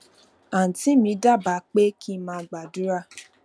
àǹtí mi dábàá pé kí n máa gbàdúrà